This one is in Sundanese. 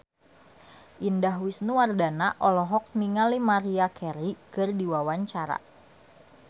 Indah Wisnuwardana olohok ningali Maria Carey keur diwawancara